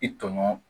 I tɔɲɔgɔn